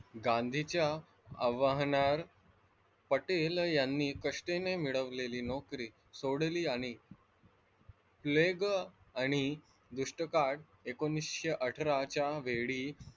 गांधींच्या आव्हाहन पटेल यांनी कष्टाने मिळवलेली नोकरी सोडली आणि प्लेग आणि एकोणीसशे अठराच्या वेळी,